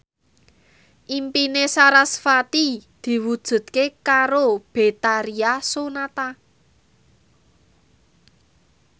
impine sarasvati diwujudke karo Betharia Sonata